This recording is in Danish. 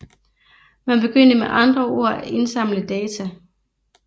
Man begyndte med andre ord at indsamle data